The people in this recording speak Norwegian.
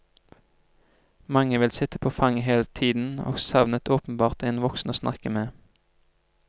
Mange ville sitte på fanget hele tiden, og savnet åpenbart en voksen å snakke med.